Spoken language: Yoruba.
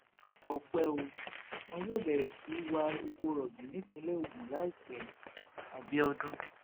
ọpẹ o wọn yóò bẹrẹ sí í wá epo rọbì nípìnlẹ ogun láìpẹ abiodun